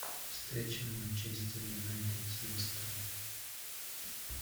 встреча манчестер юнайтед с лестером